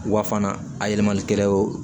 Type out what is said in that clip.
Wa fana a yɛlɛmani kɛra o